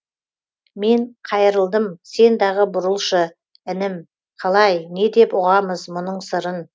мен қайырылдым сен дағы бұрылшы інім қалай не деп ұғамыз мұның сырын